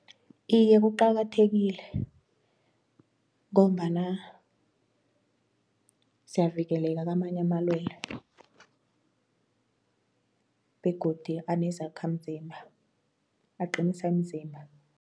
Iye kuqakathekile ngombana siyavikeleka kamanye amalwelwe begodu anezakhamzimba aqinisa imzimba.